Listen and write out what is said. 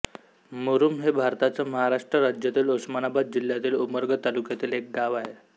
मुरूम हे भारताच्या महाराष्ट्र राज्यातील उस्मानाबाद जिल्ह्यातील उमरगा तालुक्यातील एक गाव आहे